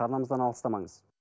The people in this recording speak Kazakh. арнамыздан алыстамаңыз